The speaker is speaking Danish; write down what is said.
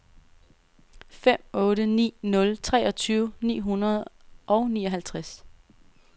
fem otte ni nul treogtyve ni hundrede og nioghalvtreds